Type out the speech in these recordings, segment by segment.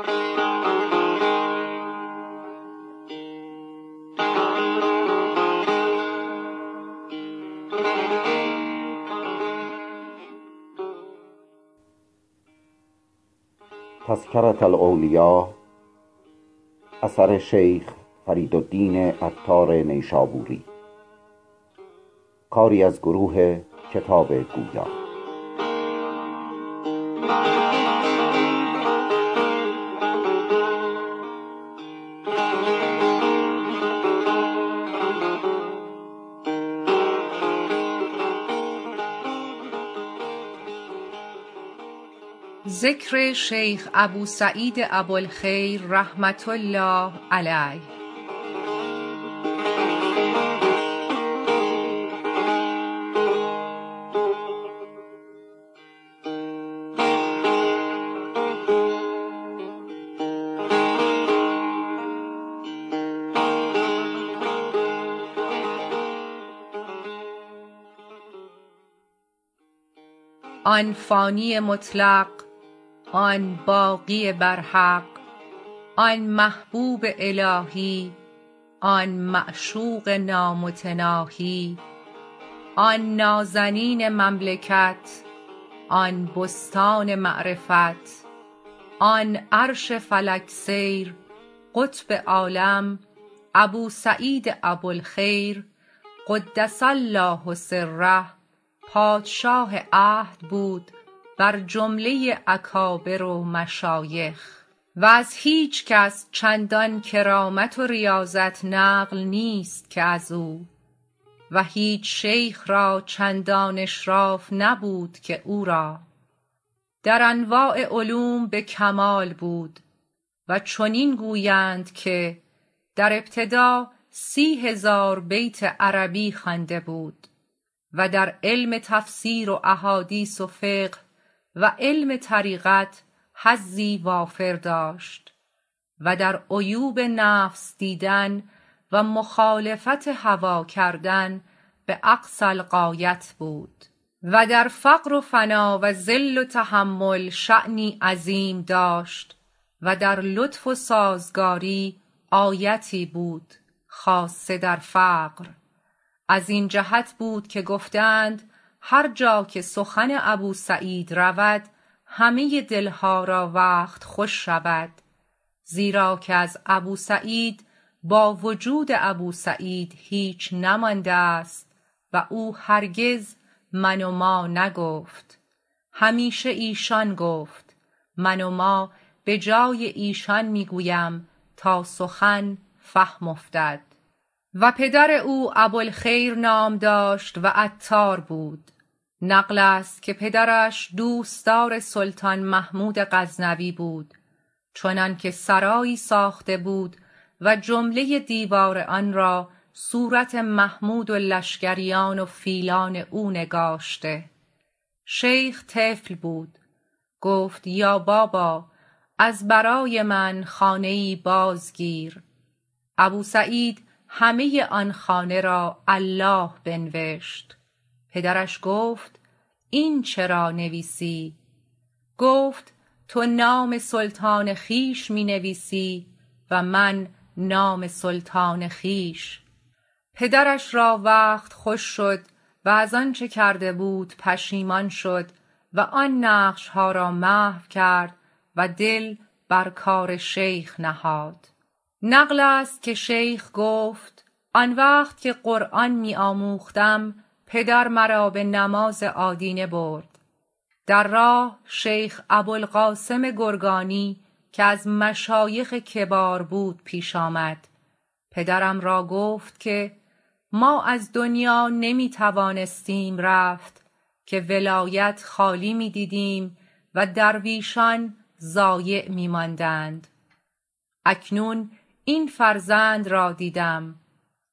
آن فانی مطلق آن باقی برحق آن محبوب الهی آن معشوق نامتناهی آن نازنین مملکت آن بستان معرفت آن عرش فلک سیر قطب عالم ابوسعید ابوالخیر قدس الله سره پادشاه عهد بود بر جمله اکابر و مشایخ و از هیچکس چندان کرامت و ریاضت نقل نیست که ازو و هیچ شیخ را چندان اشراف نبود که او را در انواع علوم به کمال بود و چنین گویند که در ابتدا سی هزار بیت عربی خوانده بود و در علم تفسیر و احادیث و فقه و علم طریقت حظی وافر داشت و در عیوب نفس دیدن و مخالفت هوا کردن به اقصی الغایه بود و در فقر و فنا و ذل و تحمل شأنی عظیم داشت و در لطف و سازگاری آیتی بود خاصه در فقر از این جهت بود که گفته اند هر جاکه سخن ابوسعید رود همه دلها را وقت خوش شود زیرا که از ابوسعید با وجود ابوسعید هیچ نمانده است و او هرگز من و ما نگفت همیشه ایشان گفت من و ما به جای ایشان می گویم تا سخن فهم افتد و پدر او ابوالخیر نام داشت وعطار بود نقلست که پدرش دوستدار سلطان محمود غزنوی بود چنانکه سرایی ساخته بود و جمله دیوار آنرا صورت محمود و لشکریان و فیلان او نگاشته شیخ طفل بود گفت یا بابا از برای من خانه ای بازگیر ابوسعید همه آن خانه را الله بنوشت پدرش گفت این چرا نویسی گفت تو نام سلطان خویش می نویسی و من نام سلطان خویش پدرش را وقت خوش شد و از آنچه کرده بود پشیمان شد و آن نقشها را محو کرد و دل بر کار شیخ نهاد نقلست که شیخ گفت آن وقت که قرآن می آموختم پدر مرا به نماز آدینه برد در راه شیخ ابوالقاسم گرگانی که ازمشایخ کبار بود پیش آمد پدرم را گفت که ما از دنیا نمی توانستیم رفت که ولایت خالی می دیدیم و درویشان ضایع می ماندند اکنون این فرزند را دیدم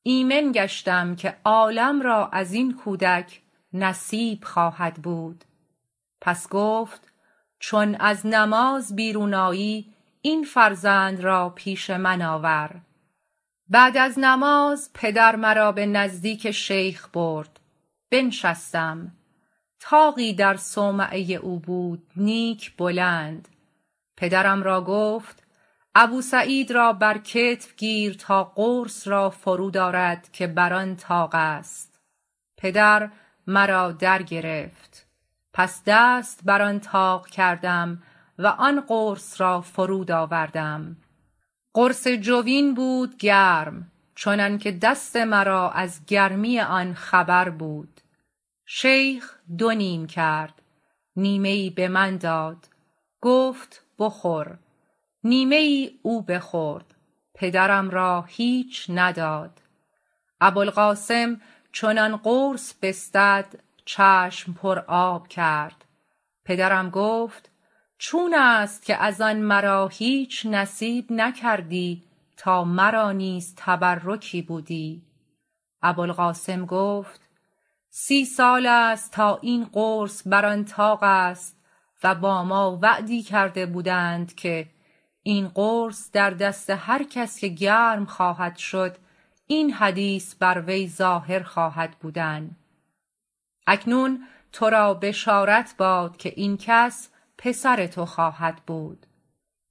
ایمن گشتم که عالم را ازین کودک نصیب خواهد بود پس گفت چون از نماز بیرون آیی این فرزند را پیش من آور بعد از نماز پدر مرا به نزدیک شیخ برد بنشستم طاقی در صومعه ی او بود نیک بلند پدرم را گفت ابوسعید را بر کتف گیر تا قرص را فرود آرد که بر آن طاقست پدر مرا درگرفت پس دست بر آن طاق کردم و آن قرص را فرودآوردم قرص جوین بود گرم چنانکه دست مرا از گرمی آن خبر بود شیخ دو نیم کرد نیمه ی ای به من داد گفت بخور نیمه ی ای او بخورد پدرم را هیچ نداد ابوالقاسم چون آن قرص بستد چشم پر آب کرد پدرم گفت چونست که از آن مرا هیچ نصیب نکردی تا مرا نیز تبرکی بودی ابوالقاسم گفت سی سال است تا این قرص بر آن طاقست و با ما وعدی کرده بودند که این قرص در دست هر کس که گرم خواهد شد این حدیث بروی ظاهر خواهد بودن اکنون ترا بشارت باد که این کس پسر تو خواهد بود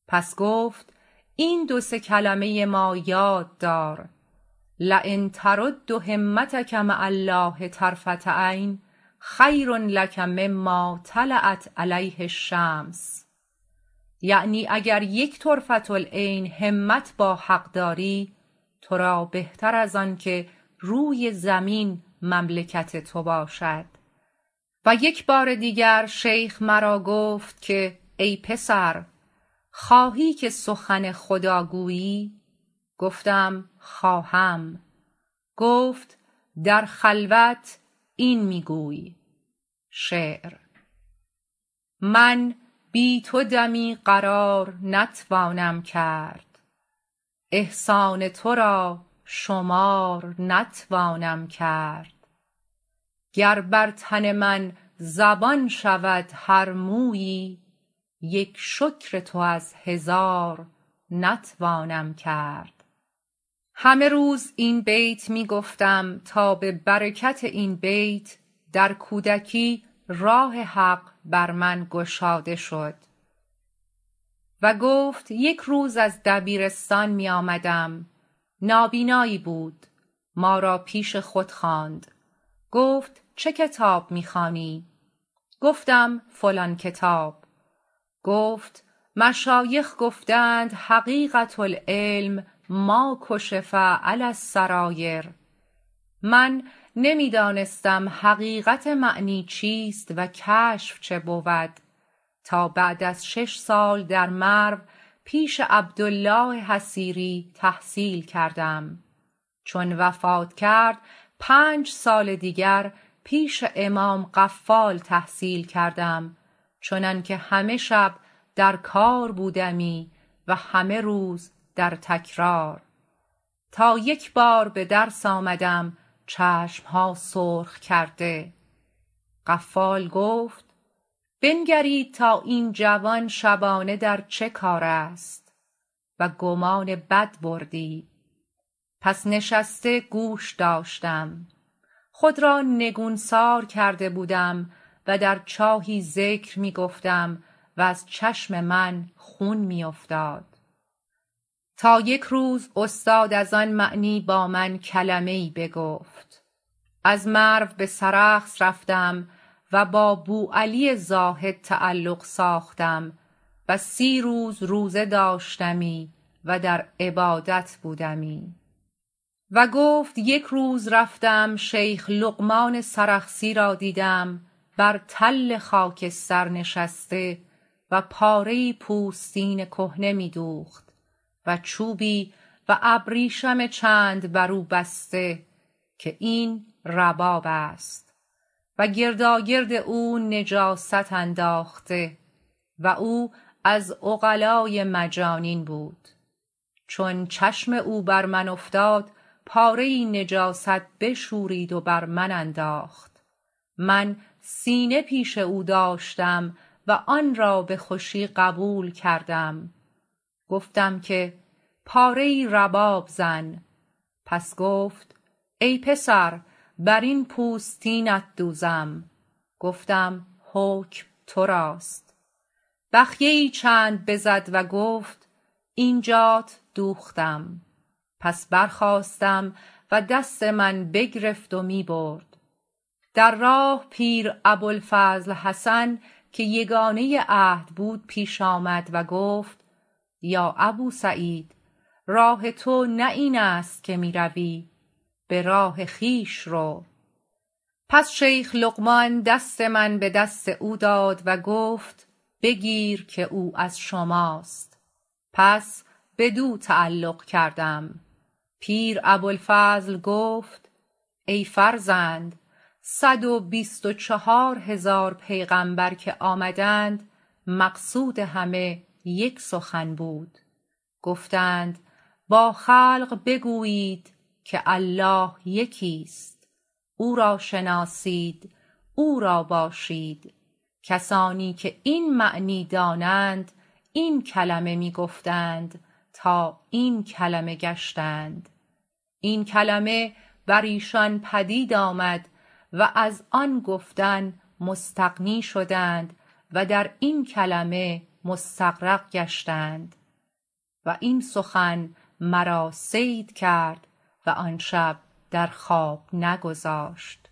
پس گفت این دو سه کلمه ی ما یاددار لین ترد همتک مع الله طرفة عین خیرلک مما طلعت علیه الشمس یعنی اگر یک طرفةالعین همت با حق داری ترا بهتر از آنکه روی زمین مملکت تو باشد و یکبار دیگر شیخ مرا گفت که ای پسر خواهی که سخن خداگویی گفتم خواهم گفت در خلوت این می گوی شعر من بی تو دمی قرار نتوانم کرد احسان ترا شمار نتوانم کرد گر بر تن من زبان شود هر مویی یک شکر تو از هزار نتوانم کرد همه روز این بیت می گفتم تا به برکت این بیت در کودکی راه حق برمن گشاده شد و گفت یک روز از دبیرستان می آمدم نابینایی بود ما را پیش خود خواند گفت چه کتاب می خوانی گفتم فلان کتاب گفت مشایخ گفته اند حقیقت العلم ما کشف علی السرایر من نمی دانستم حقیقت معنی چیست و کشف چه بود تا بعد از شش سال درمرو پیش عبدالله حصیری تحصیل کردم چون وفات کرد پنج سال دیگر پیش امام قفال تحصیل کردم چنانکه همه شب در کار بودمی و همه روز درتکرار تا یکبار بدرس آمدم چشمها سرخ کرده قفال گفت بنگرید تا این جوان شبانه در چه کار است وگمان بدبردی پس نشسته گوش داشتم خود را نگونسار کرده بودم و در چاهی ذکر می گفتم و از چشم من خون میافتاد تا یک روز استاد از آن معنی با من کلمه ای بگفت از مرو بسرخس رفتم و با بوعلی زاهد تعلق ساختم و سی روز روزه داشتمی و در عبادت بودمی و گفت یک روز رفتم شیخ لقمان سرخسی را دیدم بر تل خاکستر نشسته و پاره ای پوستین کهنه می دوخت وچوبی و ابریشم چند برو بسته که این ربابست و گرداگرد او نجاست انداخته و او از عقلای مجانین بود چون چشم او بر من افتاد پاره ی ای نجاست بشورید و بر من انداخت من سینه پیش او داشتم و آنرا به خوشی قبول کردم گفتم که پاره ی ای رباب زن پس گفت ای پسر برین پوستینت دوزم گفتم حکم تراست بخیه ی ای چند بزد و گفت اینجات دوختم پس برخاستم و دست من بگرفت و می برد در راه پیرابوالفضل حسن که یگانه ی عهد بود پیش آمد و گفت یا ابوسعید راه تونه اینست که می روی براه خویش رو پس شیخ لقمان دست من بدست او داد و گفت بگیر که او از شما است پس بدو تعلق کردم پیر ابوالفضل گفت ای فرزند صد و بیست و چهار هزار پیغمبر که آمدند مقصود همه یک سخن بود گفتند با خلق بگویید که الله یکیست او را شناسید او را باشید کسانی که این معنی دانند این کلمه می گفتند تا این کلمه گشتند و این کلمه بر ایشان پدید آمد و از آن گفتن مستغنی شدند و در این کلمه مستغرق گشتند و این سخن مرا صید کرد و آنشب در خواب نگذاشت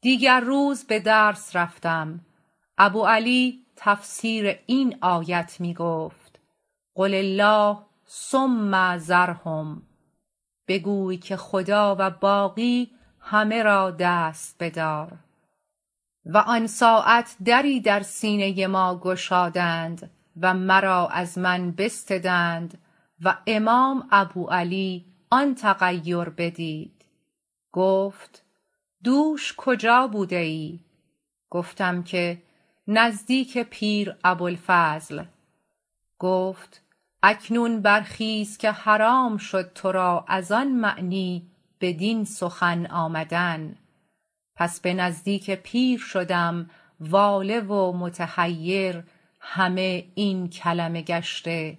دیگر روز بدرس رفتم ابوعلی تفسیر این آیت می گفت قل الله ثم ذرهم بگوی که خداوند باقی همه را دست بدار و آن ساعت دری در سینه ما گشادند و مرا از من بستدند و امام ابوعلی آن تغیر بدید گفت دوش کجا بوده ی ای گفتم که نزدیک پیر ابوالفضل گفت اکنون برخیز که حرام شد ترا از آن معنی بدین سخن آمدن پس به نزدیک پیر شدم واله و متحیر همه این کلمه گشته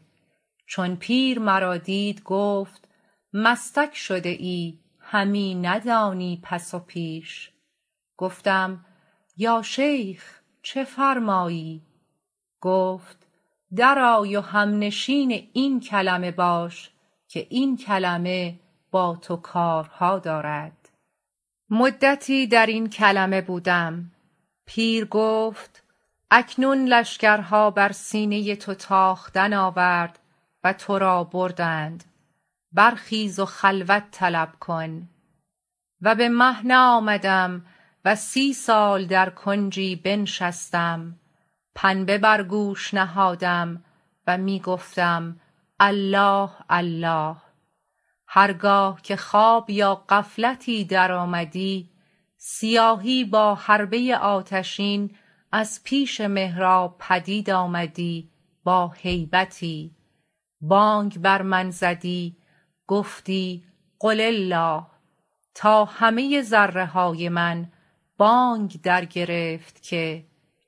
چون پیر مرا دید گفت مستک شده ای همی ندانی پس و پیش گفتم یا شیخ چه فرمایی گفت درآی و هم نشین این کلمه باش که این کلمه با تو کارها دارد مدتی در این کلمه بودم پیرگفت اکنون لشکرها بر سینه تو تاختن آورد و ترا بردند برخیز و خلوت طلب کن و به مهنه آمدم و سی سال در کنجی بنشستم پنبه برگوش نهادم و می گفتم الله الله هرگاه که خواب یا غفلتی درآمدی سیاهی با حربه ی آتشین از پیش محراب پدید آمدی با هیبتی بانگ بر من زدی گفتی قل الله تا همه ذره های من بانگ در گرفت که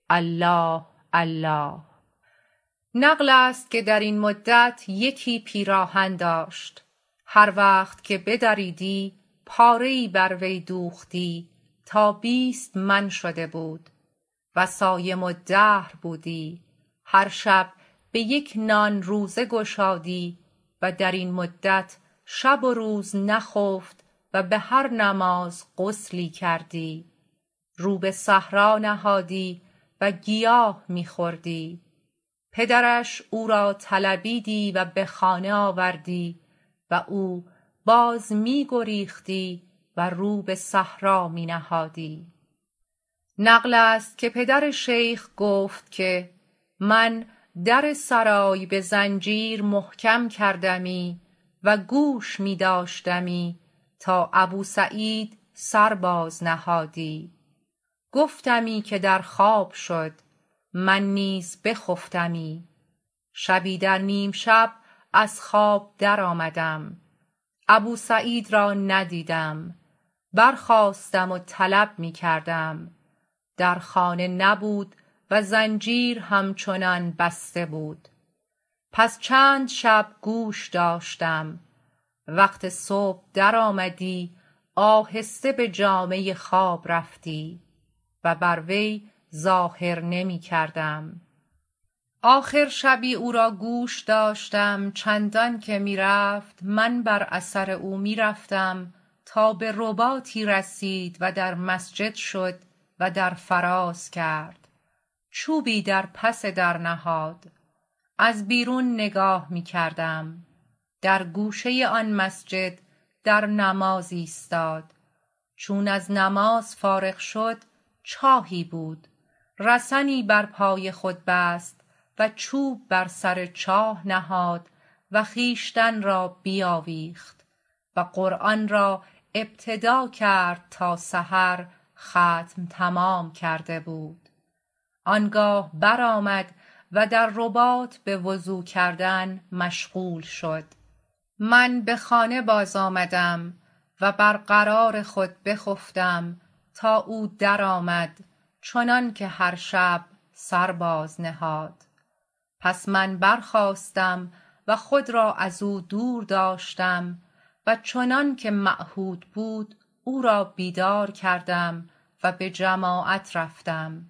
الله الله نقلست که درین مدت یکی پیراهن داشت هر وقت که بدریدی پاره ای بروی دوختی تا بیست من شده بود وصایم الدهر بودی هر شب بیک نان روزه گشادی و درین مدت شب و روز نخفت و به هر نماز غسلی کردی رو به حصار نهادی و گیاه می خوردی پدرش او را طلبیدی و به خانه آوردی و او باز می گریختی و رو به صحرا می نهادی نقلست که پدر شیخ گفت که من در سرای به زنجیر محکم کردمی و گوش می داشتمی تا ابوسعید سرباز نهادی گفتمی که در خواب شد من نیز بخفتمی شبی در نیم شب از خواب درآمدم ابوسعید را ندیدم برخاستم و طلب می کردم درخانه نبود و زنجیر همچنان بسته بود پس چند شب گوش داشتم وقت صبح درآمدی آهسته به جامه خواب رفتی و بر وی ظاهر نمی کردم آخر شبی او را گوش داشتم چندانکه می رفت من بر اثر او می رفتم تا به رباطی رسید و درمسجد شد و در فراز کرد چوبی در پس در نهاد از بیرون نگاه می کردم در گوشه ی آن مسجد در نماز ایستاد چون از نماز فارغ شد چاهی بود رسنی بر پای خود بست و چوب بر سر چاه نهاد وخویشتن را بیاویخت و قرآن را ابتدا کرد تا سحر ختم تمام کرده بود آنگاه برآمد و در رباط به وضو کردن مشغول شد من به خانه بازآمدم و برقرار خود بخفتم تا او درآمد چنانکه هر شب سرباز نهاد پس من برخاستم و خود را از او دورداشتم و چنانکه معهود بود او را بیدار کردم و به جماعت رفتم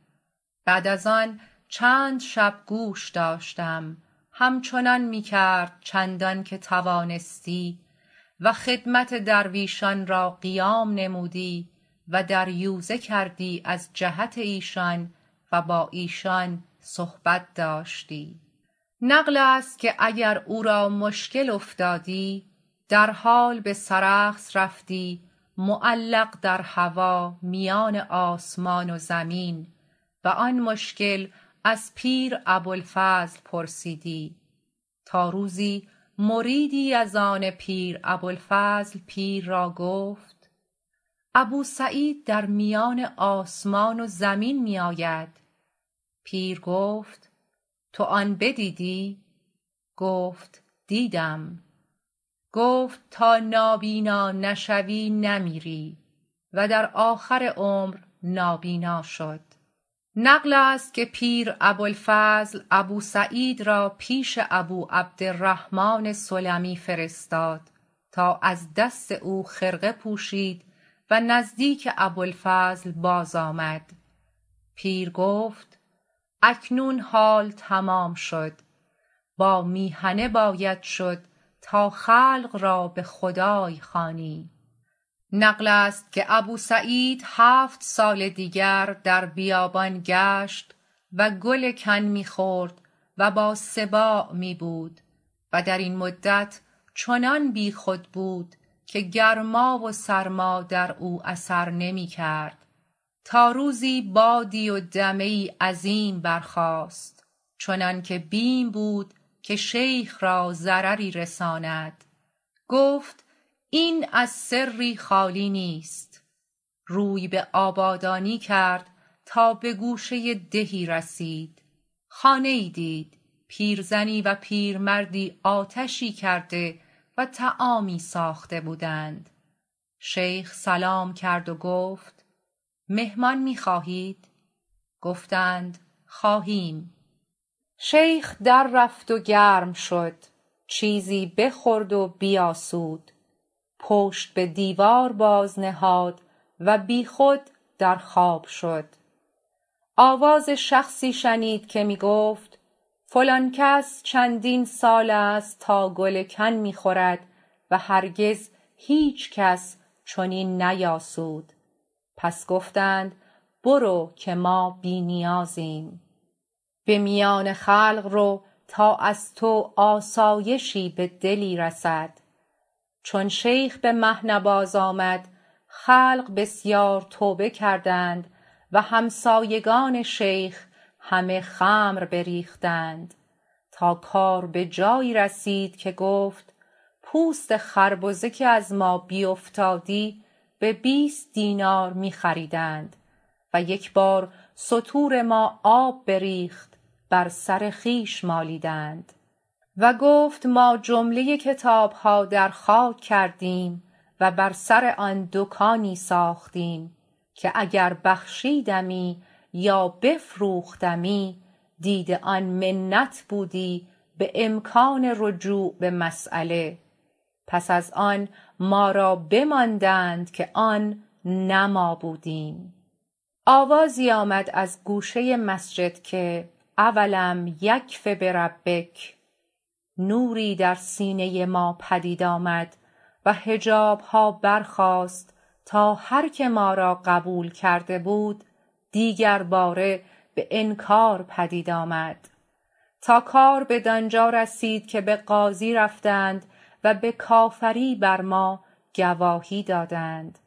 بعد از آن چند شب گوش داشتم همچنان می کرد چندانکه توانستی و خدمت درویشان را قیام نمودی و در یوزه کردی از جهت ایشان و با ایشان صحبت داشتی نقلست که اگر او را مشکل افتادی در حال به سرخس رفتی معلق در هوا میان آسمان و زمین و آن مشکل از پیر ابوالفضل پرسیدی تا روزی مریدی از آن پیر ابوالفضل پیر را گفت ابوسعید در میان آسمان و زمین میاید پیر گفت تو آن بدیدی گفت دیدم گفت تا نابینا نشوی نمیری و در آخر عمر نابینا شد نقلست که پیر ابوالفضل ابوسعید را پیش ابو عبدالرحمن سلمی فرستاد تا از دست او خرقه پوشید و نزدیک ابوالفضل باز آمد پیر گفت اکنون حال تمام شد با میهنه باید شد تا خلق را بخدای خوانی نقلست که ابوسعید هفت سال دیگر در بیابان گشت و گل کن می خورد و با سباع می بود و درین مدت چنان بی خود بود که گرما و سرما دراو اثر نمی کرد تا روزی بادی و دمه ای عظیم برخاست چنانکه بیم بود که شیخ را ضرری رساند گفت این از سری خالی نیست روی به آبادانی کرد تا به گوشه ی دهی رسید خانه ی ای دید پیرزنی و پیرمردی آتشی کرده و طعامی ساخته بودند شیخ سلام کرد و گفت مهمان می خواهید گفتند خواهیم شیخ در رفت و گرم شد چیزی بخورد و بیاسود پشت به دیوار باز نهاد و بی خود در خواب شد آواز شخصی شنید که می گفت فلان کس چندین سالست تا گل کن می خورد وهرگزهیچکس چنین نیاسود پس گفتند برو که ما بی نیازیم به میان خلق رو تا از تو آسایشی بدلی رسد چون شیخ بمهنه بازآمد خلق بسیار توبه کردند و همسایگان شیخ همه خمر بریختند تا کار به جایی رسید که گفت پوست خربزه که ازما بیفتادی به بیست دینار می خریدند و یکبار ستور ما آب بریخت بر سر خویش مالیدند و گفت ما جمله کتابها درخاک کردیم و بر سر آن دکانی ساختیم که اگر بخشیدمی یا بفروختمی دید آن منت بودی به امکان رجوع به مسیله پس از آن ما را بماندند که آن نه مابودیم آوازی آمد از گوشه مسجد که اولم یکف بربک نوری در سینه ی ما پدید آمد و حجابها برخاست تا هرکه ما را قبول کرده بود دیگرباره به انکار پدید آمد تا کار بدانجا رسید که به قاضی رفتند و به کافری بر ما گواهی دادند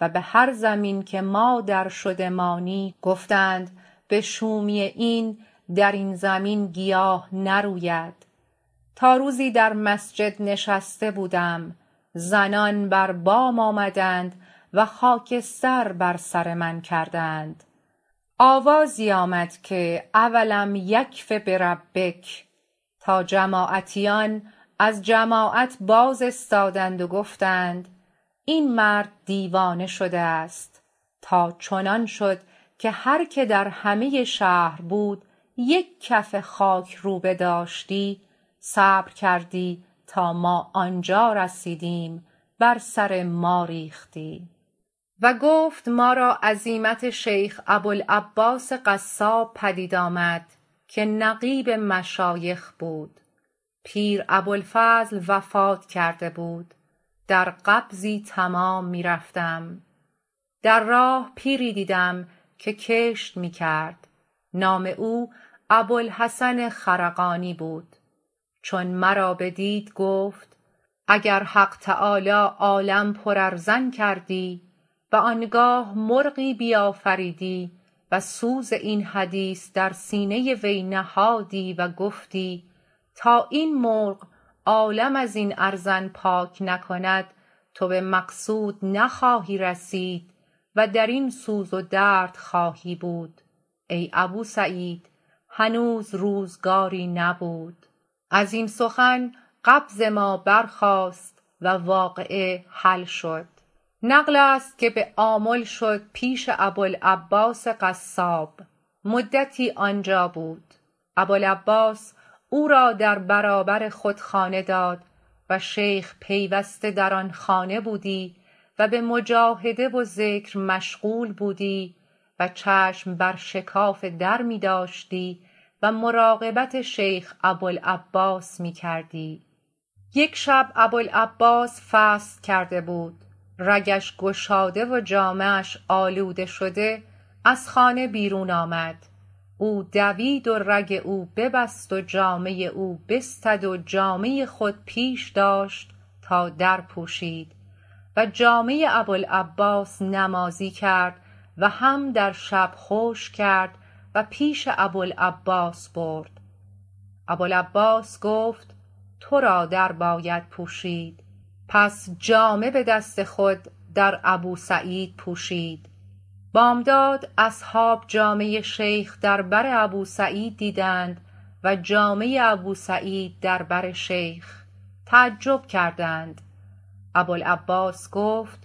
و به هر زمین که ما درشدمانی گفتند بشومی این درین زمین گیاه نروید تا روزی در مسجد نشسته بودم زنان بربام آمدند و خاکستر بر سر من کردند آوازی آمد که اولم یکف بربک تا جماعتیان از جماعت باز استادند و گفتند این مرد دیوانه شده است تاچنان شد که هرکه در همه شهر بود یک کف خاکروبه داشتی صبر کردی تا ما آنجا رسیدیم بر سر ما ریختی و گفت ما را عزیمت شیخ ابوالعباس قصاب پدید آمد که نقیب مشایخ بود پیر ابوالفضل وفات کرده بود در قبضی تمام می رفتم در راه پیری دیدیم که کشت می کرد نام او ابوالحسن خرقانی بود چون مرا بدید گفت اگر حق تعالی عالم پر ارزن کردی و آنگاه مرغی بیافریدی و سوز این حدیث در سینه ی وی نهادی و گفتی تا این مرغ عالم ازین ارزن پاک نکند تو به مقصود نخواهی رسید و درین سوز و درد خواهی بود ای ابوسعید هنوز روزگاری نبود ازین سخن قبض ما برخاست و واقعه حل شد نقلست که به آمل شد پیش ابوالعباس قصاب مدتی آنجا بود ابوالعباس او را در برابر خود خانه داد و شیخ پیوسته در آن خانه بودی و به مجاهده وذکر مشغول بودی و چشم بر شکاف درمی داشتی و مراقبت شیخ ابوالعباس می کردی یک شب ابوالعباس فصد کرده بود رگش گشاده و جامه اش آلوده شده از خانه بیرون آمد او دوید و رگ او ببست و جامه ی او بستد و جامه خود پیش داشت تا درپوشید و جامه ی ابوالعباس نمازی کرد وهم در شب خشک کرد و پیش ابوالعباس برد ابوالعباس گفت ترا درباید پوشید پس جامه به دست خود در ابوسعید پوشید بامداد اصحاب جامه ی شیخ در بر ابوسعید دیدند و جامه ی ابوسعید در بر شیخ تعجب کردند ابوالعباس گفت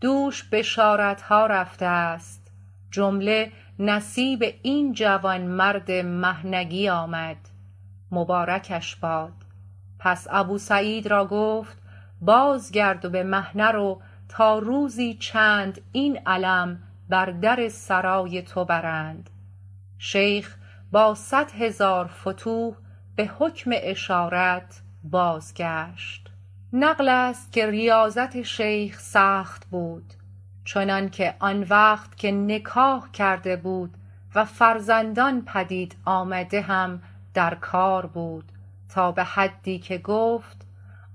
دوش بشارتها رفته است جمله نصیب این جوانمرد مهنگی آمد مبارکش باد پس ابوسعید را گفت بازگرد و به مهنه رو تا روزی چند این علم بر در سرای تو برند شیخ با صدهزار فتوح به حکم اشارت بازگشت نقلست که ریاضت شیخ سخت بود چنانکه آن وقت که نکاح کرده بود و فرزندان پدید آمده هم در کار بود تا به حدی که گفت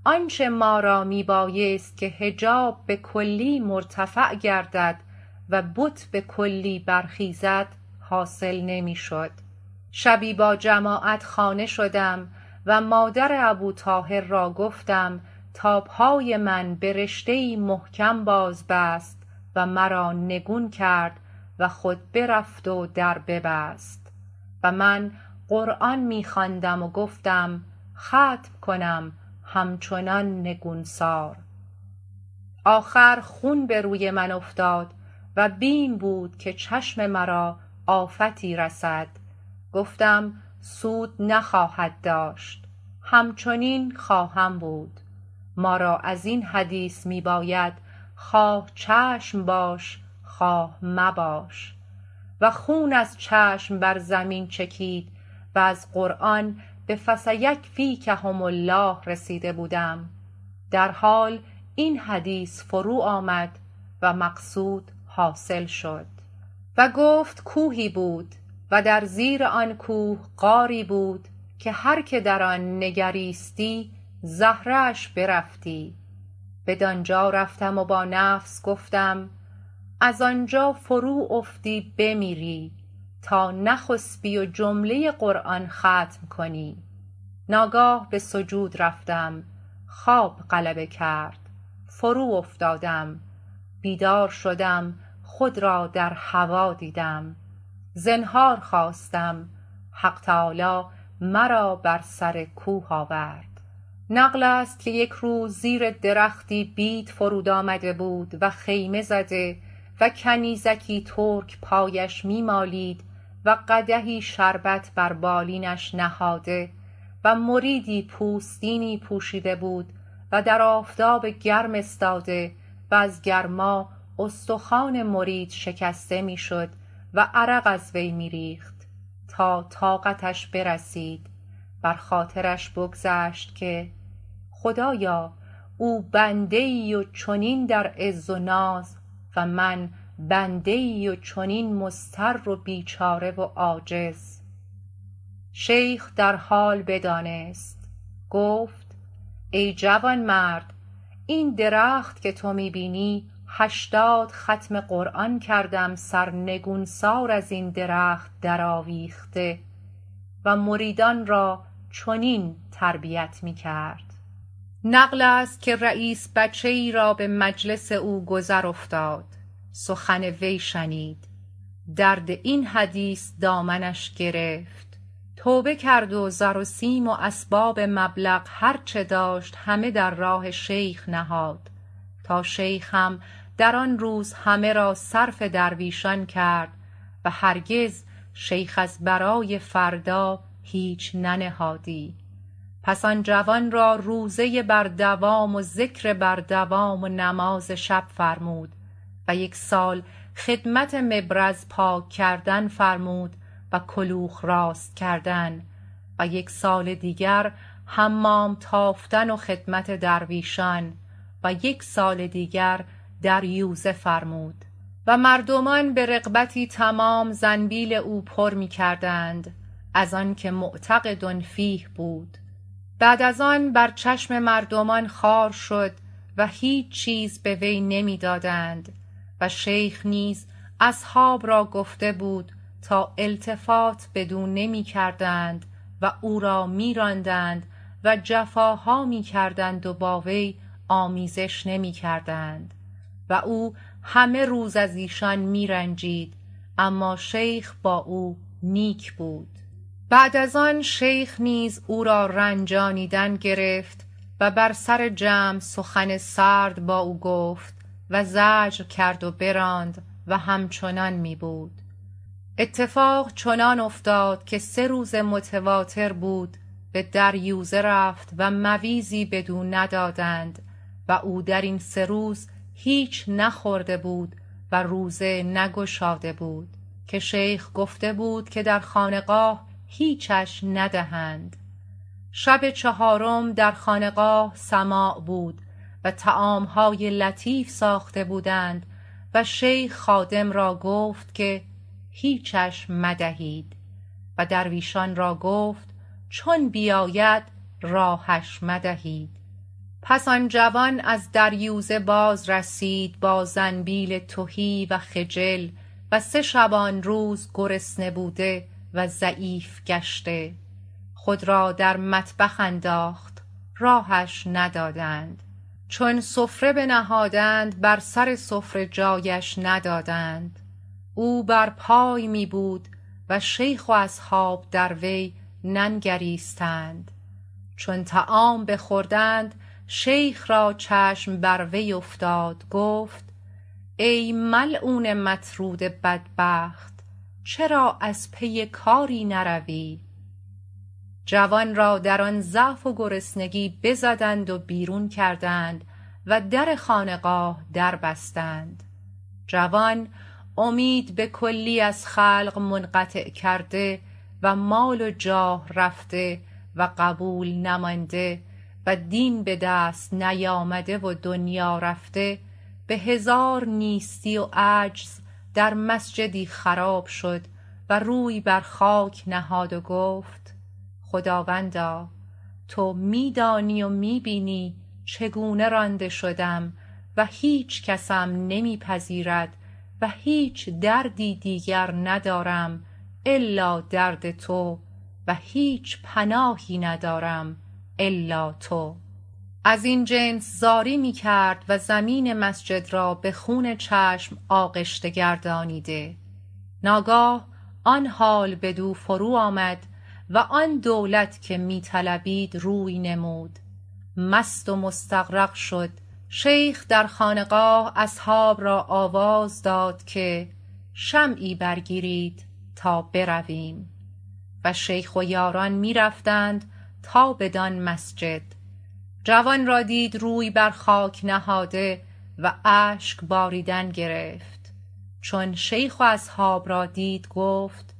آنچه ما را می بایست که حجاب به کلی مرتفع گردد و بت به کلی برخیزد حاصل نمی شد شبی با جماعت خانه شدم و مادر ابوطاهر را گفتم تا پای من به رشته ی ای محکم باز بست و مرا نگون کرد وخود برفت و در ببست و من قرآن می خواندم و گفتم ختم کنم همچنان نگونسار آخر خون به روی من افتاد و بیم بود که چشم مرا آفتی رسد گفتم سود نخواهد داشت همچنین خواهم بود ما را ازین حدیث می باید خواه چشم باش خواه مباش و خون از چشم بر زمین چکید و از قرآن به فسیکفیکهم الله رسیده بودم در حال این حدیث فروآمد و مقصود حاصل شد و گفت کوهی بود و در زیر آن کوه غاری بود که هر که در آن نگریستی زهره اش برفتی بدانجا رفتم و با نفس گفتم از آنجا فرو افتی بمیری تا نخسبی و جمله قرآن ختم کنی ناگاه به سجود رفتم خواب غلبه کرد فرو افتادم بیدار شدم خود را در هوا دیدم زنهار خواستم حق تعالی مرا بر سر کوه آورد نقلست که یک روز زیر درختی بید فرود آمده بود و خیمه زده و کنیزکی ترک پایش می مالید و قدحی شربت بر بالینش نهاده و مریدی پوستینی پوشیده بود و در آفتاب گرم استاده و از گرما استخوان مرید شکسته می شد و عرق از وی می ریخت تا طاقتش برسید بر خاطرش بگذشت که خدایا او بنده ای و چنین در عز و ناز و من بنده ای و چنین مضطر و بیچاره و عاجز شیخ در حال بدانست و گفت ای جوانمرد این درخت که تو می بینی هشتاد ختم قرآن کردم سرنگونسار ازین درخت در آویخته و مریدان را چنین تربیت می کرد نقلست که رییس بچه ای را به مجلس او گذر افتاد سخن وی شنید درد این حدیث دامنش گرفت توبه کرد و زر و سیم و اسباب مبلغ هرچه داشت همه در راه شیخ نهاد تا شیخ هم در آن روز همه را صرف درویشان کرد وهرگز شیخ از برای فردا هیچ ننهادی پس آن جوان را روزه بر دوام و ذکر بر دوام و نماز شب فرمود و یک سال خدمت مبرز پاک کردن فرمود و کلوخ راست کردن و یک سال دیگر حمام تافتن و خدمت درویشان ویک سال دیگر دریوزه فرمود و مردمان به رغبتی تمام زنبیل او پر می کردند از آنکه معتقد فیه بود بعد از آن بر چشم مردمان خوار شد و هیچ چیز به وی نمی دادند و شیخ نیز اصحاب را گفته بود تا التفات بدو نمی کردند و او را می راندند و جفاها می کردند و با وی آمیزش نمی کردند و او همه روز از ایشان می رنجید اما شیخ با او نیک بود بعد از آن شیخ نیز او را رنجانیدن گرفت و بر سر جمع سخن سرد با او گفت و زجر کرد و براند او همچنان می بود اتفاق چنان افتاد که سه روز متواتر بود به دریوزه رفت و مویزی بدو ندادند و او درین سه روز هیچ نخورده بود و روزه نگشاده بود که شیخ گفته بود که در خانقاه هیچش ندهند شب چهارم در خانقاه سماع بودو طعامهای لطیف ساخته بودند و شیخ خادم را گفت که هیچش مدهید و درویشان را گفت چون بیاید راهش مدهید پس آن جوان از دریوزه باز رسید با زنبیل تهی و خجل و سه شبانروز گرسنه بود وضعیف گشته خود را در مطبخ انداخت راهش ندادند چون سفره بنهادند بر سر سفره جایش ندادند او بر پای می بود و شیخ و اصحاب دروی ننگریستند چون طعام بخوردند شیخ را چشم بر وی افتاد گفت ای ملعون مطرود بدبخت چرا از پی کاری نروی جوان را در آن ضعف و گرسنگی بزدند و بیرون کردند و در خانقاه در بستند جوان امید به کلی از خلق منقطع کرده و مال و جاه رفته و قبول نمانده و دین بدست نیامده و دنیا رفته به هزار نیستی و عجز در مسجدی خراب شد و روی بر خاک نهاد و گفت خداوندا تو می دانی و می بینی چگونه رانده شدم و هیچ کسم نمی پذیرد و هیچ دردی دیگر ندارم الا درد تو و هیچ پناهی ندارم الا تو ازین جنس زاری می کرد و زمین مسجد را به خون چشم آغشته گردانیده ناگاه آن حال بدو فرو آمد و آن دولت که می طلبید روی نمود مست و مستغرق شد شیخ در خانقاه اصحاب را آواز داد که شمعی برگیرید تا برویم و شیخ و یاران می رفتند تا بدان مسجد جوان را دید روی بر خاک نهاده و اشک باریدن گرفت چون شیخ و اصحاب را دید گفت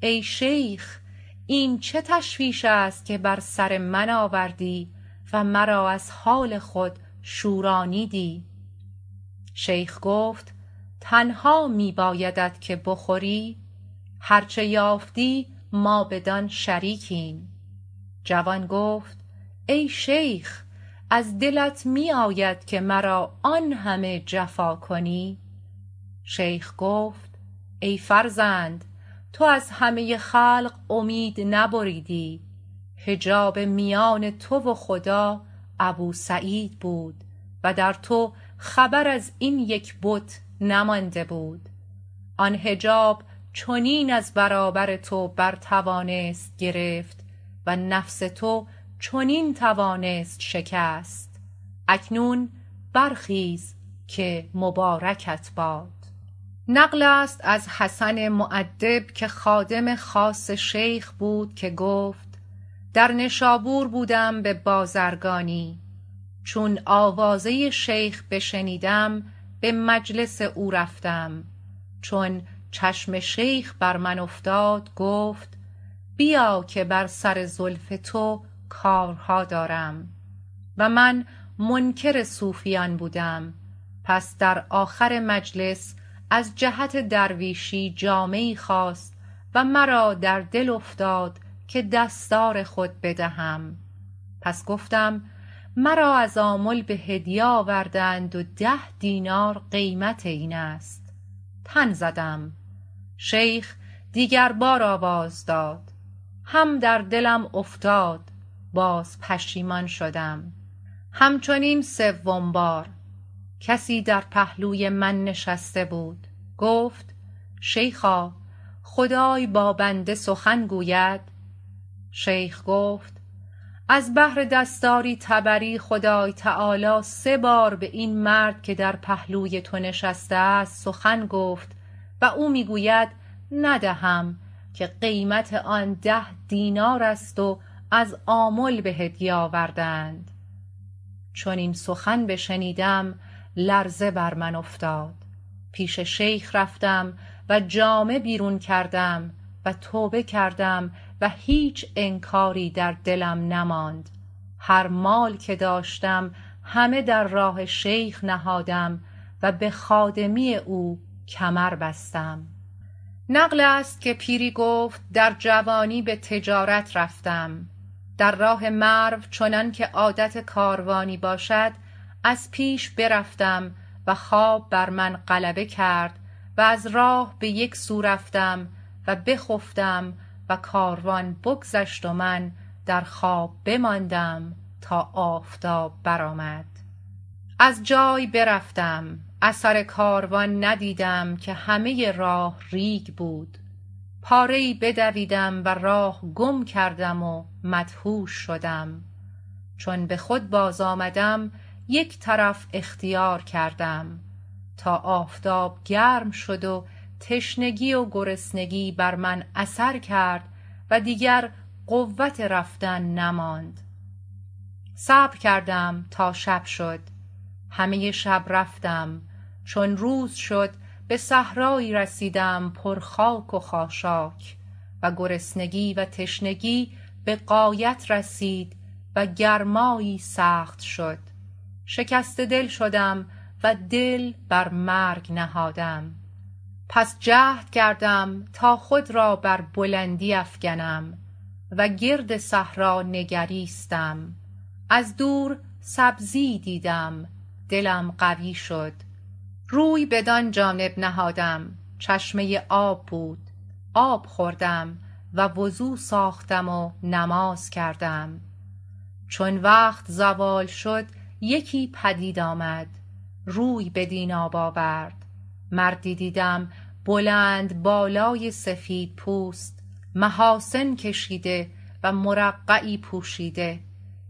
ای شیخ این چه تشویش است که بر سر من آوردی و مرا از حال خود شورانیدی شیخ گفت تنها می بایدت که بخوری هرچه یافتی ما بدان شریکیم جوان گفت ای شیخ از دلت می آید که مرا آنهمه جفا کنی شیخ گفت ای فرزند تو از همه خلق امید نبریدی حجاب میان تو و خدا ابوسعید بود و درتو خبر از این یک بت نمانده بود آن حجاب چنین از برابر تو بر توانست گرفت و نفس تو چنین توانست شکست اکنون برخیز که مبارکت باد نقلست که از حسن مؤدب که خادم خاص شیخ بود که گفت در نشابور بودم به بازرگانی چون آوازه ی شیخ بشنیدم به مجلس او رفتم چون چشم شیخ بر من افتاد گفت بیا که بر سر زلف تو کارها دارم و من منکر صوفیان بودم پس در آخر مجلس از جهت درویشی جامه ی ای خواست و مرا در دل افتاد که دستار خود بدهم پس گفتم مرا از آمل به هدیه آورده اند و ده دینار قیمت اینست تن زدم شیخ دیگر بار آواز داد هم در دلم افتاد باز پشیمان شدم همچنین سوم بار کسی در پهلوی من نشسته بود گفت شیخا خدای با بنده ی سخن گوید شیخ گفت از بهر دستاری طبری خدای تعالی سه بار به این مرد که در پهلوی تو نشسته است سخن گفت و او می گوید ندهم که قیمت آن ده دینار است و از آمل به هدیه آورده اند چون این سخن بشنیدم لرزه بر من افتاد پیش شیخ رفتم و جامه بیرون کردم و توبه کردم و هیچ انکاری در دلم نماند هر مال که داشتم همه در راه شیخ نهادم و به خادمی او کمر بستم نقلست که پیری گفت در جوانی به تجارت رفتم در راه مرو چنانکه عادت کاروانی باشد از پیش برفتم و خواب بر من غلبه کرد و از راه بیک سو رفتم و بخفتم و کاروان بگذشت و من در خواب بماندم تا آفتاب برآمد از جای برفتم اثر کاروان ندیدم که همه راه ریگ بود پاره ی ای بدویدم و راه گم کردم ومدهوش شدم چون به خود بازآمدم یک طرف اختیار کردم تا آفتاب گرم شد و تشنگی و گرسنگی بر من اثر کرد و دیگر قوت رفتن نماند صبر کردم تا شب شد همه روز رفتم چون شب شد به صحرایی رسیدم پر خاک و خاشاک و گرسنگی و تشنگی به غایت رسید و گرمایی سخت شد شکسته دل شدم و دل بر مرگ نهادم پس جهد کردم تا خود را بر بلندی افکنم و گرد صحرا نگریستم از دور سبزی ای دیدم دلم قوی شد روی بدان جانب نهادم چشمه آب بود آب خوردم و وضو ساختم و نماز کردم چون وقت زوال شد یکی پدید آمد روی بدین آب آورد مردی دیدم بلند بالای سفیدپوست محاسن کشیده و مرقعی پوشیده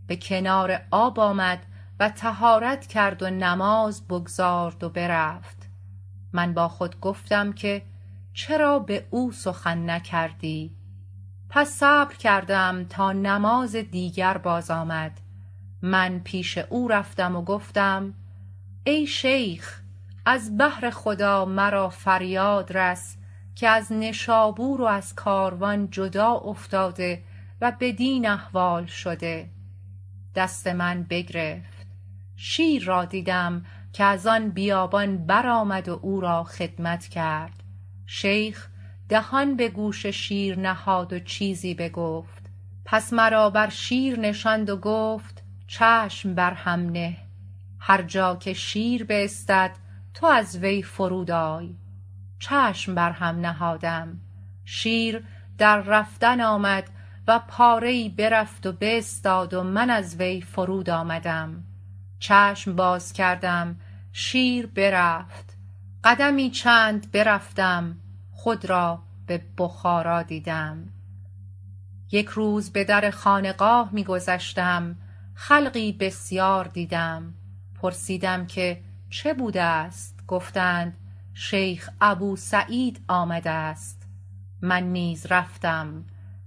به کنار آب آمد و طهارت کرد ونماز بگذارد و برفت من با خود گفتم که چرا به او سخن نکردی پس صبر کردم تا نماز دیگر باز آمد من پیش او رفتم و گفتم ای شیخ از بهر خدا مرا فریادرس که از نشابورو ازکاروان جدا افتاده و بدین احوال شده دست من بگرفت شیر را دیدم که از آن بیابان برآمد و او را خدمت کرد شیخ دهان به گوش شیر نهاد و چیزی بگفت پس مرا بر شیر نشاند وگفت چشم برهم نه هر جا که شیر باستد تو از وی فرود آی چشم بر هم نهادم شیر در رفتن آمد و پاره ای برفت و باستاد و من ازوی فرود آمدم چشم بازکردم شیر برفت قدمی چند برفتم خود را به بخارا دیدم یک روز به در خانقاه می گذشتم خلقی بسیار دیدم پرسیدم که چه بوده است گفتند شیخ ابوسعید آمده است من نیز رفتم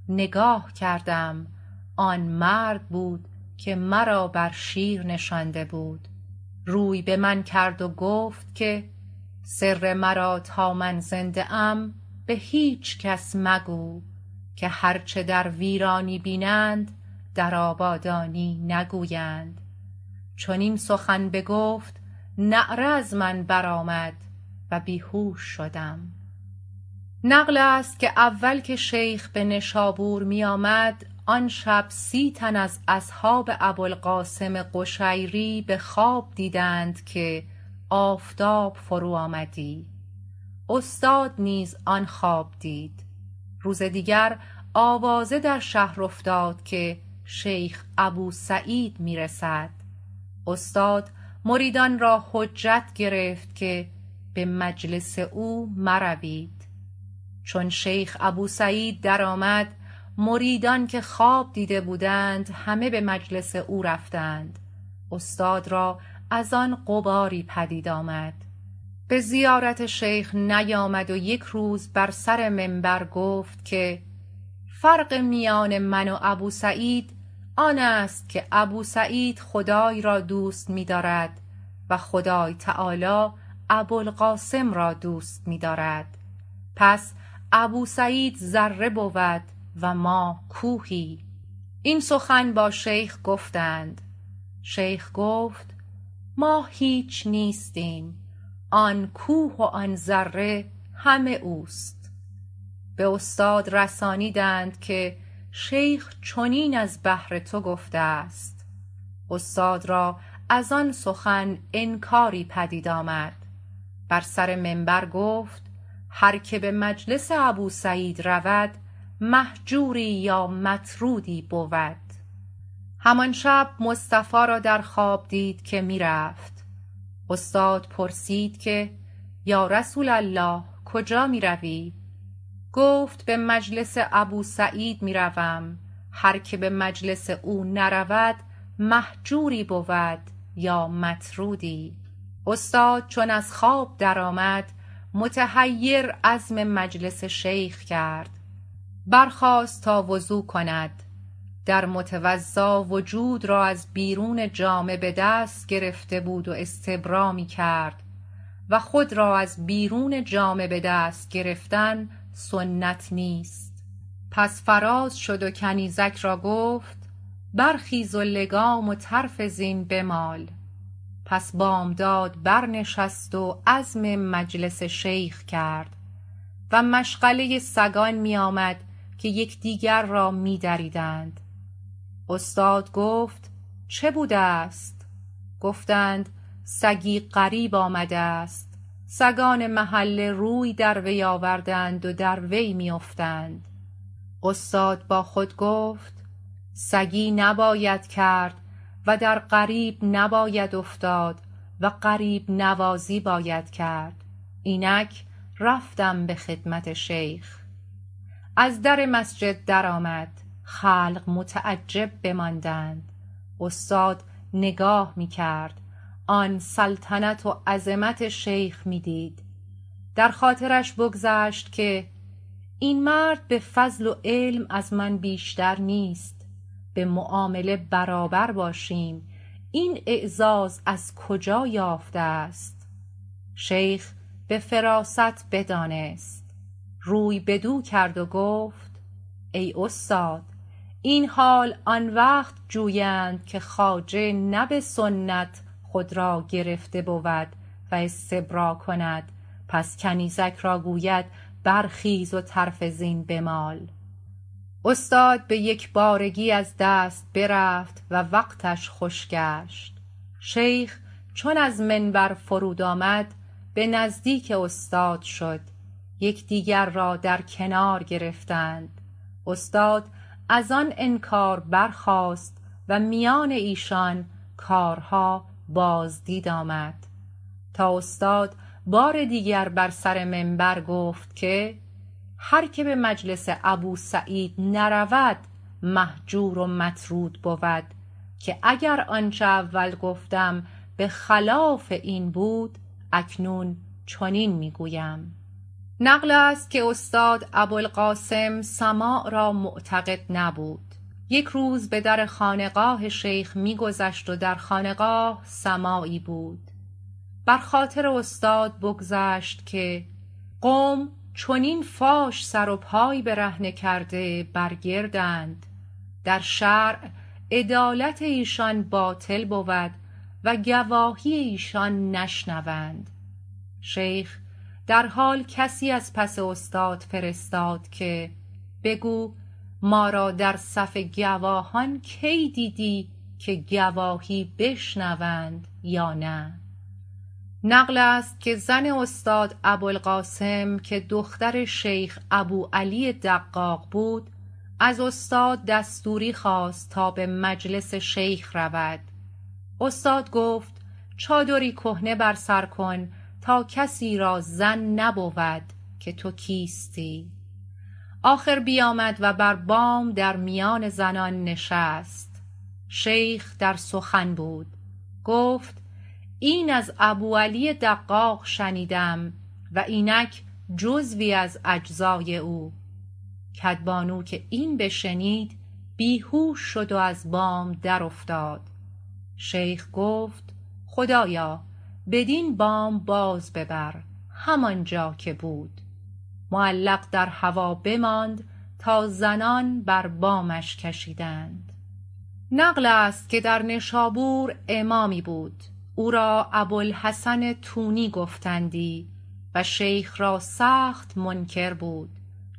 نگاه کردم آن مرد بود که مرا بر شیر نشانده بود روی بمن کرد و گفت که سر مرا تا من زنده ام به هیچ کس مگو که هرچه در ویرانی بینند در آبادانی نگویند چون این سخن بگفت نعره از من برآمد و بیهوش شدم نقلست که اول که شیخ به نشابور می آمد آن شب سی تن از اصحاب ابوالقاسم قشیری به خواب دیدند که آفتاب فرو آمدی استاد نیز آن خواب دید روز دیگر آواز در شهر افتاد که شیخ ابوسعید می رسد استاد مریدان را حجت گرفت که به مجلس او مروید چون شیخ ابوسعید درآمد مریدان که خواب دیده بودند همه به مجلس او رفتند استاد را از آن غباری پدید آمد به زیارت شیخ نیامد و یک روز بر سر منبر گفت که فرق میان من و ابوسعید آنست که ابوسعید خدای را دوست می دارد و خدایتعالی ابوالقاسم را دوست می دارد پس ابوسعید ذره ی بود و ما کوهی این سخن با شیخ گفتند شیخ گفت ما هیچ نیستیم آن کوه و آن ذره همه اوست به استاد رسانیدند که شیخ چنین از بهر تو گفته است استاد را از آن سخن انکاری پدید آمد بر سر منبر گفت هر که به مجلس ابوسعید رود مهجوری یا مطرودی بود همان شب مصطفی را درخواب دید که می رفت استاد پرسید که یا رسول الله کجا می روی گفت به مجلس ابوسعید می روم هرکه به مجلس او نرود مهجوری بود یا مطرودی استاد چون از خواب درآمد متحیر عزم مجلس شیخ کرد برخاست تا وضو کند در متوضا وجود را از بیرون جامه به دست گرفته بود و استبرا می کرد و خود را از بیرون جامه بدست گرفتن سنت نیست پس فراز شد وکنیزک را گفت برخیز و لگام و طرف زین بمال پس بامداد برنشست و عزم مجلس شیخ کرد و مشغله ی سگان می آمد که یکدیگر را می دریدند استاد گفت چه بوده است گفتند سگی غریب آمده است سگان محله روی دروی آورده اند و دروی میافتند استاد با خود گفت سگی نباید کرد و درغریب نباید افتاد و غریب نوازی باید کرد اینک رفتم به خدمت شیخ از در مسجد درآمده خلق متعجب بماندند استاد نگاه می کرد آن سلطنت و عظمت شیخ می دید در خاطرش بگذشت که این مرد به فضل و علم از من بیشتر نیست به معامله برابر باشیم این اعزاز از کجا یافته است شیخ به فراست بدانست روی بدو کرد وگفت ای استاد این حال آن وقت جویند که خواجه نه به سنت خود را گرفته بود و استبرا کند پس کنیزک را گوید برخیز و طرف زین بمال استاد به یکبارگی از دست برفت و وقتش خوش گشت شیخ چون از منبر فرود آمد به نزدیک استاد شد یکدیگر را درکنار گرفتند استاد از آن انکار برخاست و میان ایشان کارها بازدید آمد تا استاد بار دیگر بر سر منبر گفت که هر که به مجلس ابوسعید نرود مهجور و مطرود بود که اگر آنچه اول گفتم به خلاف این بود اکنون چنین می گویم نقلست که استاد ابوالقاسم سماع را معتقد نبود یک روز به درخانقاه شیخ می گذشت و در خانقاه سماعی بود بر خاطر استاد بگذشت که قوم چنین فاش سر و پای برهنه کرده برگردند در شرع عدالت ایشان باطل بود وگواهی ایشان نشنوند شیخ در حال کسی از پس استاد فرستاد که بگو ما را در صف گواهان کی دیدی که گواهی بشنوند یا نه نقلست که زن استاد ابوالقاسم که دختر شیخ ابوعلی دقاق بود از استاد دستوری خواست تا به مجلس شیخ رود استاد گفت چادری کهنه بر سر کن تا کسی را ظن نبود که تو کیستی آخر بیامد و بر بام در میان زنان نشست شیخ در سخن بود گفت این از ابوعلی دقاق شنیدم و اینک جزوی از اجزای او کدبانو که این بشنید بیهوش شد و از بام در افتاد شیخ گفت خدایا بدین بام باز ببر همانجا که بود معلق در هوا بماند تا زنان بر بامش کشیدند نقلست که در نشابور امامی بود او را ابوالحسن تونی گفتندی و شیخ را سخت منکر بود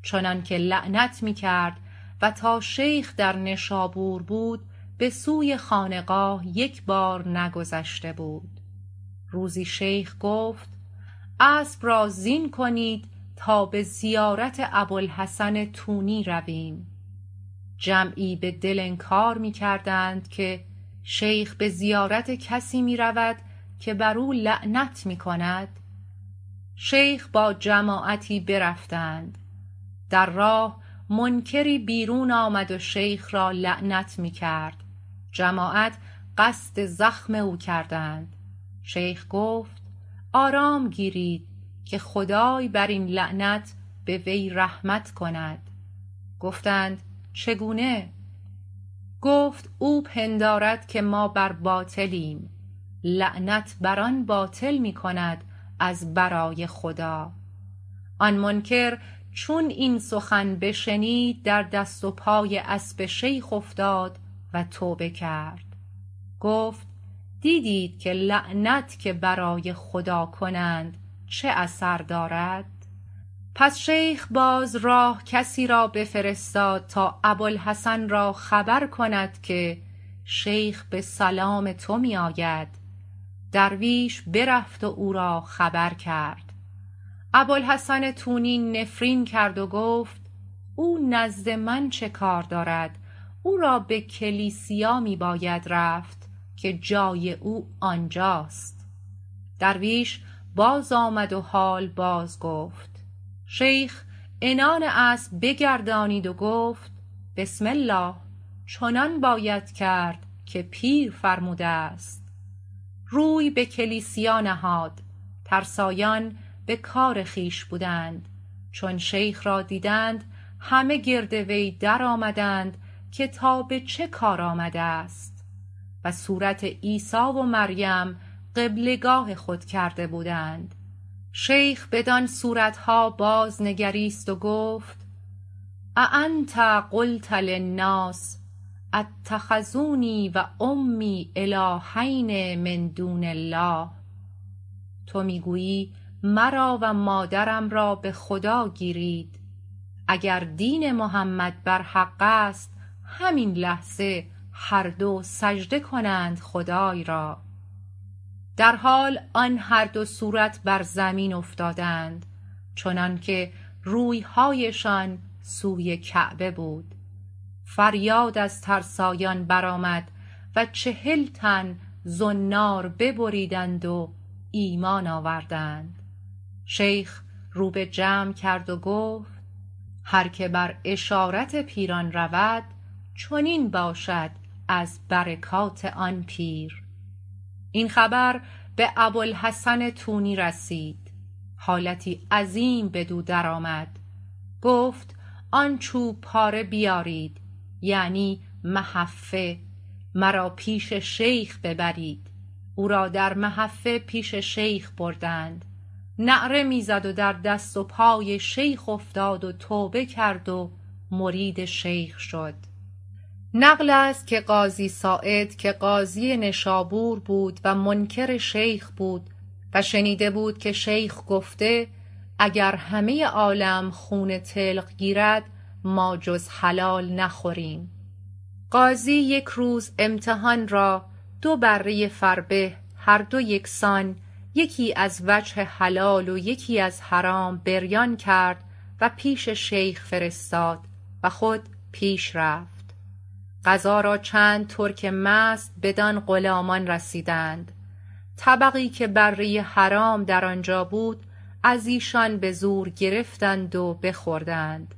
چنانکه لعنت می کرد و تا شیخ در نشابور بود بسوی خانقاه یکبار نگذشته بود روزی شیخ گفت اسب را زین کنید تا به زیارت ابوالحسن تونی رویم جمعی به دل انکار می کردند که شیخ به زیارت کسی می رود که برو لعنت می کند شیخ با جماعتی برفتند در راه منکری بیرون آمد و شیخ را لعنت می کرد جماعت قصد زخم او کردند شیخ گفت آرام گیرید که خدای برین لعنت بوی رحمت کند گفتند چگونه گفت او پندارد که ما بر باطلیم لعنت بر آن باطل می کند از برای خدا آن منکر چون این سخن بشنید در دست و پای اسب شیخ افتاد و توبه کرد گفت دیدید که لعنت که برای خدای کنند چه اثر دارد پس شیخ باز راه کسی را بفرستاد تا ابوالحسن را خبر کند که شیخ به سلام تو میاید درویش برفت و اورا خبر کرد ابوالحسن تونی نفرین کرد وگفت او نزد من چه کار دارد او را به کلیسیا می باید رفت که جای او آنجاست درویش بازآمد و حال بازگفت شیخ عنان اسب بگردانید و گفت بسم الله چنان باید کرد که پیر فرموده است روی به کلیسیا نهاد ترسایان بکار خویش بودند چون شیخ را دیدند همه گرد وی درآمدند که تا به چه کار آمده است و صورت عیسی و مریم قبله گاه خود کرده بودند شیخ بدان صورت ها بازنگریست و گفت اانت قلت للناس اتخذونی و امی الهین من دون الله تو می گویی مرا و مادرم را به خدا گیرید اگردین محمد بر حقست همین لحظه هر دو سجده کنند خدای را درحال آن هر دو صورت بر زمین افتادند چنانکه رویهایشان سوی کعبه بود فریاد از ترسایان برآمد و چهل تن زنار ببریدند و ایمان آوردند شیخ رو به جمع کرد وگفت هر که بر اشارت پیران رود چنین باشد از برکات آن پیر این خبربه ابوالحسن تونی رسید حالتی عظیم بدودرآمد گفت آن چوب پاره بیارید یعنی محفه مرا پیش شیخ ببرید او را در محفه پیش شیخ بردند نعره می زد ودر دست و پای شیخ افتاد و توبه کرد و مرید شیخ شد نقلست که قاضی ساعد که قاضی نشابور بود و منکر شیخ بود و شنیده بود که شیخ گفته اگر همه عالم خون طلق گیرد ما جز حلال نخوریم قاضی یک روز امتحان را دو بره فربه هر دو یکسان یکی ازوجه حلال و یکی ازحرام بریان کرد و پیش شیخ فرستاد و خود پیش رفت قضا را چند ترک مست بدان غلامان رسیدند طبقی که بره حرام در آنجا بود از ایشان بزور گرفتند و بخوردند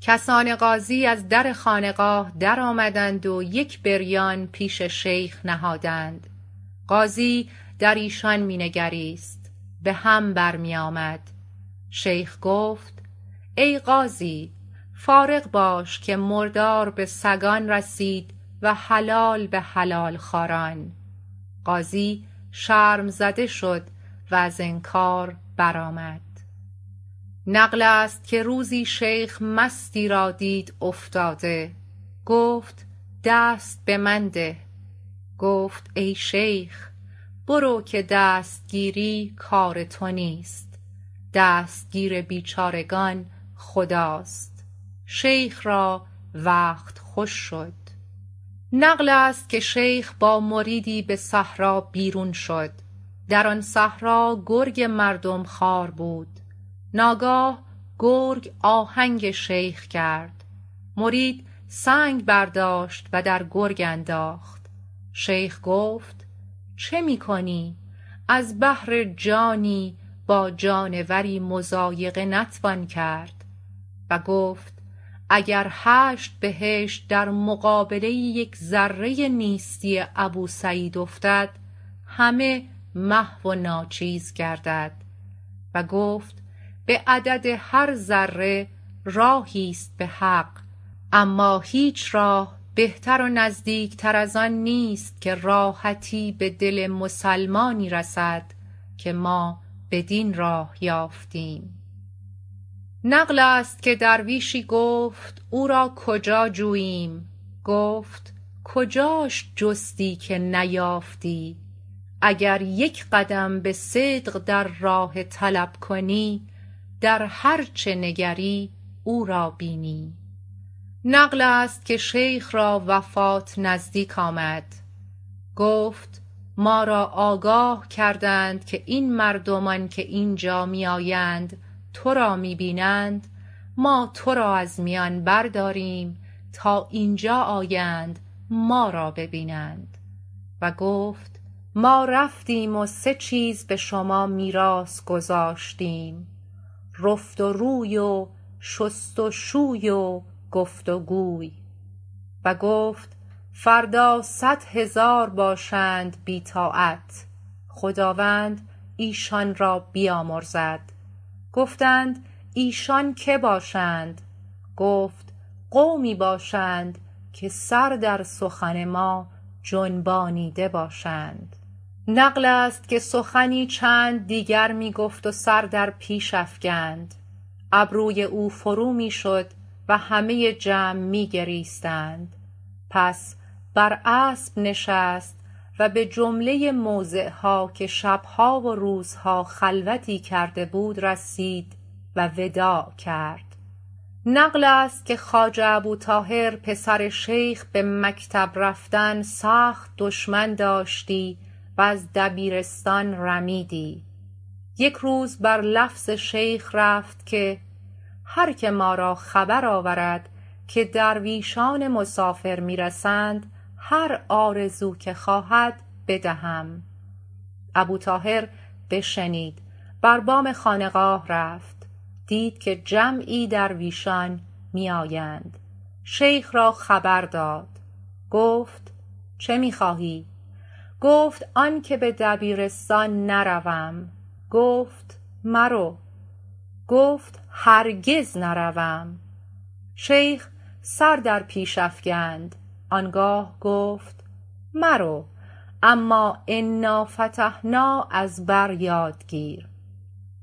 کسان قاضی از در خانقاه درآمدند و یک بریان پیش شیخ نهادند قاضی در ایشان می نگریست بهم بر می آمد شیخ گفت ای قاضی فارغ باش که مردار به سگان رسید و حلال به حلال خواران قاضی شرم زده شد و از انکار برآمد نقلست که روزی شیخ مستی را دید افتاده گفت دست به من ده گفت ای شیخ برو که دستگیری کار تو نیست دستگیر بیچارگان خداست شیخ را وقت خوش شد نقلست که شیخ با مریدی به صحرا بیرون شد در آن صحرا گرگ مردم خوار بود ناگاه گرگ آهنگ شیخ کرد مرید سنگ برداشت و در گرگ انداخت شیخ گفت چه می کنی از بهرجانی با جانوری مضایقه نتوان کرد و گفت اگر هشت بهشت درمقابله یک ذره نیستی ابوسعید افتد همه محو و ناچیز گردد و گفت به عدد هر ذره راهیست به حق اماهیچ راه بهتر و نزدیکتر از آن نیست که راحتی به دل مسلمانی رسدکه ما بدین راه یافتیم نقلست که درویشی گفت او را کجا جوییم گفت کجاش جستی که نیافتی اگر یک قدم به صدق در راه طلب کنی در هرچه نگری او را بینی نقلست که شیخ را وفات نزدیک آمد گفت ما را آگاه کردند که این مردمان که اینجا می آیند ترا می بینند ما ترا از میان برداریم تا اینجا آیند ما را بینند وگفت ما رفتیم و سه چیز به شما میراث گذاشتیم رفت و روی و شست و شوی و گفت و گوی وگفت فردا صد هزار باشند بی طاعت خداوند ایشان را بیامرزد گفتند ایشان که باشند گفت قومی باشند که سر در سخن ما جنبانیده باشند نقلست که سخنی چند دیگر می گفت و سر در پیش افکند ابروی او فرو می شد وهمه جمع می گریستند پس بر اسب نشست و به جمله موضعها که شبها و روزها خلوتی کرده بود رسید و وداع کرد نقلست که خواجه ابوطاهر پسر شیخ به مکتب رفتن سخت دشمن داشتی و از دبیرستان رمیدی یک روز بر لفظ شیخ رفت که هر که ما را خبر آورد که درویشان مسافر می رسند هر آرزو که خواهد بدهم ابوطاهر بشنید بر بام خانقاه رفت دید که جمعی درویشان می آیند شیخ را خبر داد گفت چه می خواهی گفت آنکه به دبیرستان نروم گفت مرو گفت هرگز نروم شیخ سر در پیش افکند آنگاه گفت مرو اما انافتحنا از بریاد گیر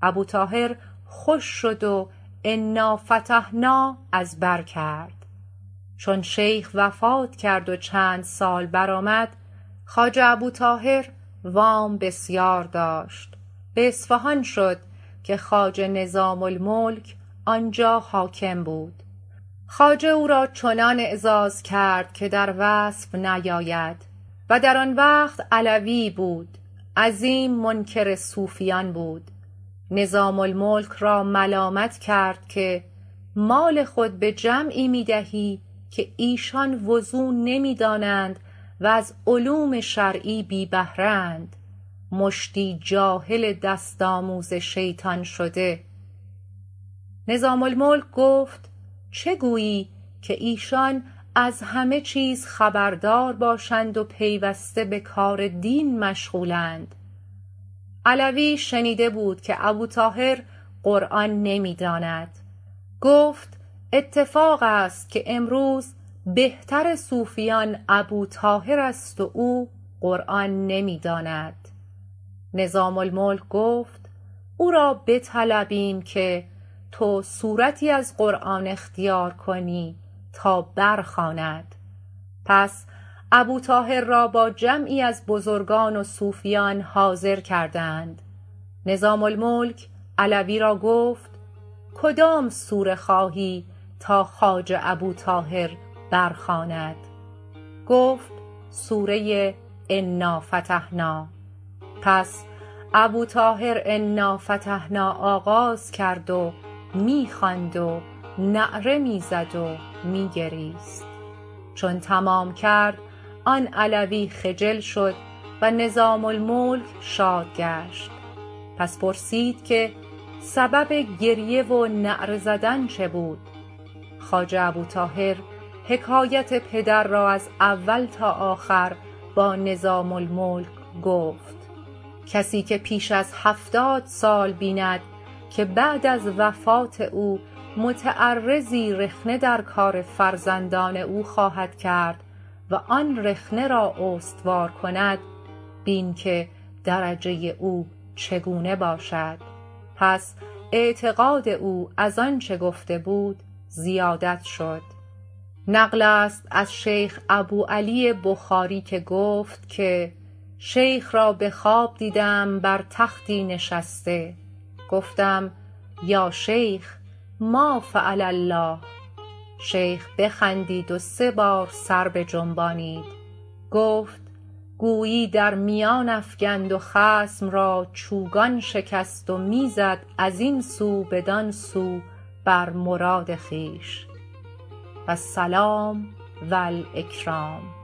ابوطاهر خوش شد و انافتحنا از بر کرد چون شیخ وفات کرد و چند سال برآمد خواجه ابوطاهر وام بسیار داشت به اصفهان شد که خواجه نظام الملک آنجا حاکم بود خواجه او را چنان اعراز کرد که در وصف نیاید و در آن وقت علوی ای بود عظیم منکر صوفیان بود نظام الملک را ملامت کرد که مال خود به جمعی می دهی که ایشان وضو نمی دانند و از علوم شرعی بی بهره اند مشتی جاهل دست آموز شیطان شده نظام الملک گفت چه گویی که ایشان از همه چیز خبردار باشند و پیوسته بکار دین مشغولند علوی شنیده بود که ابوطاهر قرآن نمی داند گفت اتفاقست که امروز بهتر صوفیان ابوطاهرست و او قرآن نمی داند نظام الملک گفت او را بطلبیم که تو سورتی از قرآن اختیار کنی تا برخواند پس ابوطاهر را با جمعی از بزرگان وصوفیان حاضر کردند نظام الملک علوی را گفت کدام سوره خواهی تاخواجه ابوطاهر برخواند گفت سوره انافتحنا پس ابوطاهر انافتحنا آغاز کرد و می خواند و نعره می زد و می گریست چون تمام کرد آن علوی خجل شد ونظام الملک شاد گشت پس پرسید که سبب گریه و نعره زدن چه بود خواجه ابوطاهر حکایت پدر را از اول تا آخر با نظام الملک گفت کسی که پیش از هفتاد سال بیند که بعد از وفات او متعرضی رخنه در کار فرزندان او خواهد کرد و آن رخنه را استوار کند بین که درجه ی او چگونه باشد پس اعتقاد او از آنچه گفته بود زیادت شد نقلست از شیخ ابوعلی بخاری که گفت که شیخ را به خواب دیدم بر تختی نشسته گفتم یا شیخ ما فعل الله شیخ بخندید و سه بار سر بجنبانید گفت گویی در میان افکند و خصم را چوگان شکست و می زد از این سو بدان سو بر مراد خویش والسلام و الاکرام